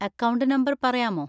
Account number പറയാമോ?